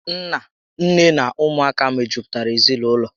Nna, nné na ụmụaka mejupụtara ezinaụlọ